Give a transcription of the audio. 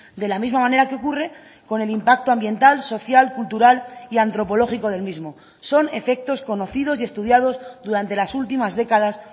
de la misma manera que ocurre con el impacto ambiental social cultural y antropológico del mismo son efectos conocidos y estudiados durante las últimas décadas